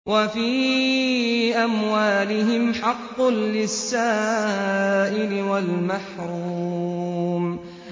وَفِي أَمْوَالِهِمْ حَقٌّ لِّلسَّائِلِ وَالْمَحْرُومِ